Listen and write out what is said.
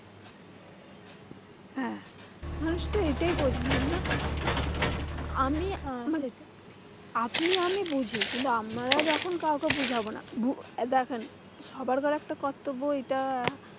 হ্যাঁ মানুষ তো এটাই বোঝে না না? আমি আহ আপনি আমি বুঝি। কিন্তু আমরা যখন কাউকে বুঝাবো না? এই দেখেন সবার ঘাড়ে একটা কর্তব্য এই টা।